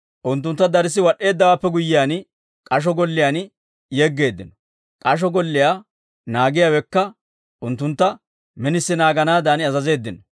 Unttunttu darssi wad'd'eeddawaappe guyyiyaan, k'asho golliyaan yeggeeddino. K'asho golliyaa naagiyaawekka unttuntta minisi naaganaadan azazeeddino.